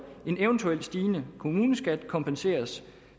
en eventuelt stigende kommuneskat kompenseres